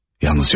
Yalnızca bu.